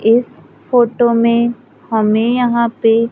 इस फोटो में हमे यहां पे--